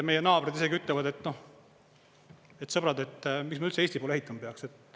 Meie naabrid isegi ütlevad: "Sõbrad, miks me üldse Eesti poole ehitama peaks.